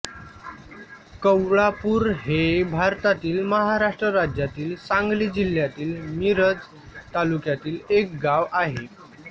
कवळापूर हे भारतातील महाराष्ट्र राज्यातील सांगली जिल्ह्यातील मिरज तालुक्यातील एक गाव आहे